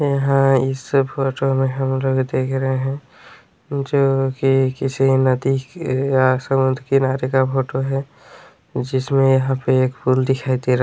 यहाँ इस फोटो मे हम लोग देख रहे हैं जो की किसी नदी किनारे का फोटो है जिसमे यहाँ पे एक फूल दिखाई दे रहा--